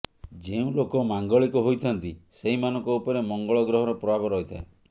ଯେଉଁ ଲୋକ ମାଙ୍ଗଳିକ ହୋଇଥାନ୍ତି ସେହି ମାନଙ୍କ ଉପରେ ମଙ୍ଗଳ ଗ୍ରହର ପ୍ରଭାବ ରହିଥାଏ